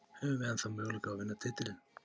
Höfum við ennþá möguleika á því að vinna titilinn?